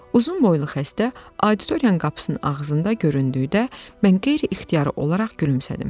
Uzunboylu xəstə auditoriyanın qapısının ağzında göründükdə mən qeyri-ixtiyari olaraq gülümsədim.